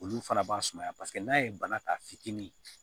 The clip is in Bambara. Olu fana b'a sumaya paseke n'a ye bana ta fitinin